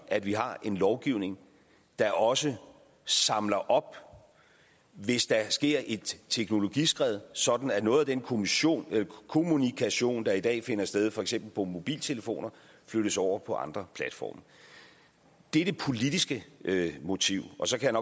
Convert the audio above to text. at vi har en lovgivning der også samler op hvis der sker et teknologiskred sådan at noget af den kommunikation kommunikation der i dag finder sted for eksempel på mobiltelefoner flyttes over på andre platforme det er det politiske motiv og så kan